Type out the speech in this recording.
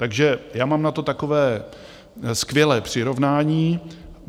Takže já mám na to takové skvělé přirovnání.